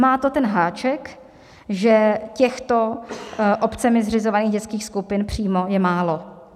Má to ten háček, že těchto obcemi zřizovaných dětských skupin přímo je málo.